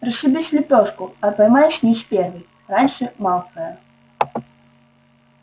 расшибись в лепёшку а поймай снитч первый раньше малфоя